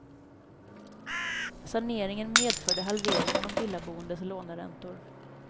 Saneringen medförde halvering av de villaboendes låneräntor.